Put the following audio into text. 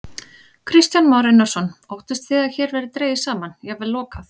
Kristján Már Unnarsson: Óttist þið að hér verði dregið saman, jafnvel lokað?